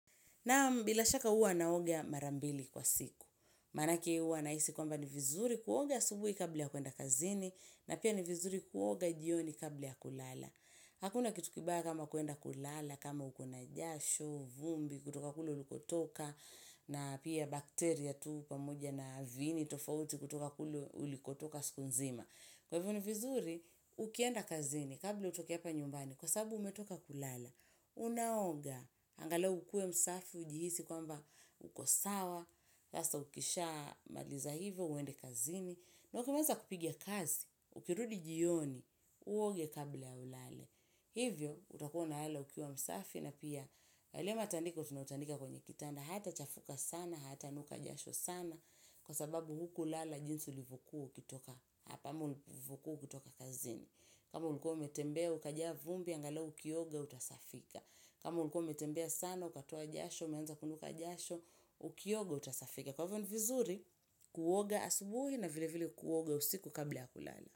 Naam bila shaka huwa naoga marambili kwa siku. Manake huwa nahisi kwamba ni vizuri kuoga asubuhi kabla ya kuenda kazini. Na pia ni vizuri kuoga jioni kabla ya kulala. Hakuna kitu kibaya kama kuenda kulala, kama uko na jasho, vumbi, kutoka kule uliko toka. Na pia bakteria tu pamoja na viniini, tofauti kutoka kulu uliko toka siku nzima. Kwa hivo ni vizuri, ukienda kazini kabla utoke hapa nyumbani kwa sababu umetoka kulala. Unaonga, angalau ukue msafi ujihisi kwamba ukosawa sasa ukisha maliza hivyo, uende kazini na ukimaliza kupiga kazi, ukirudi jioni, uoge kabla ya ulale Hivyo, utakuwa unalala ukiwa msafi na pia yale mataniko tunautandika kwenye kitanda Hayata chafuka sana, hayata nuka jasho sana Kwa sababu huku lala jinsi ulivyo kuwa ukitoka Hapa ama ulivokuwa ukitoka kazini kama ulikuwa umetembea, ukajaa vumbi, angalau ukioga, utasafika. Kama ulikuwa umetembea sana, ukatoa jasho, umeanza kunuka jasho, ukioga, utasafika. Kwa hivyo ni vizuri, kuoga asubuhi na vile vile kuoga usiku kabla ya kulala.